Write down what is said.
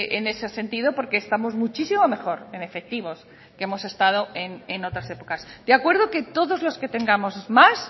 en ese sentido porque estamos muchísimo mejor en efectivos que hemos estado en otras épocas de acuerdo que todos los que tengamos más